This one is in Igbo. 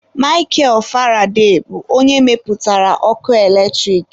Mikel Faraday bụ onye mepụtara ọkụ eletrik.